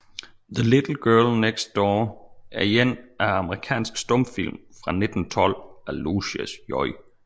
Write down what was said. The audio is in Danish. The Little Girl Next Door er en amerikansk stumfilm fra 1912 af Lucius J